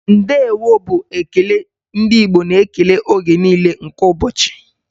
Ndeewo' bụ ekele ndị Igbo na-ekele oge niile nke ụbọchị